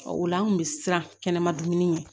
o la an kun bɛ siran kɛnɛma dumuni na